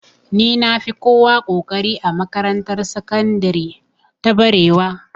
Ni na fi kowa ƙoƙari a makarantar sakandire ta barewa